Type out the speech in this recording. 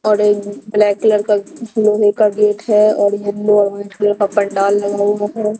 Orange black colour लोहे का gate है और येलो ऑरेंज कलर का पंडाल लगा हुआ है।